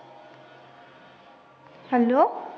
hello